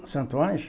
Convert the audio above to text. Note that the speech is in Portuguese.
No Santo Ânge